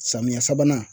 Samiyɛ sabanan